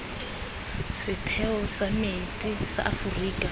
setheo sa metsi sa aforika